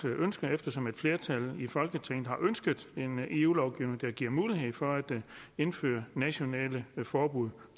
ønske eftersom et flertal i folketinget har ønsket en eu lovgivning der giver mulighed for at indføre nationale forbud